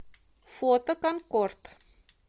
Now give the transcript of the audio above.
фото конкорд